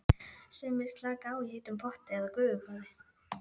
Sumir slaka á í heitum potti eða gufubaði.